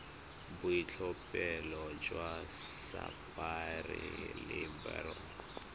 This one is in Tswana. boitlhophelo jwa sapphire le beryl